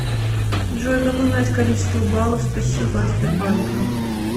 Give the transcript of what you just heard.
джой как узнать количество баллов спасибо от сбербанка